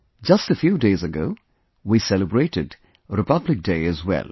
Just a few days ago, we celebrated Republic Day as well